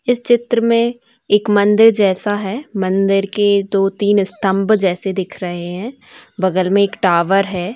इस चित्र में एक मंदिर जैसा है मंदिर के दो तीन स्तम्भ जैसे दिख रहे है बगल में एक टावर है।